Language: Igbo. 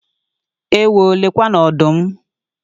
Ewoo! Lekwanụ ọdụm!